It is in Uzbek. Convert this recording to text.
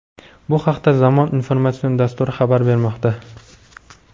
Bu haqda "Zamon" informatsion dasturi xabar bermoqda.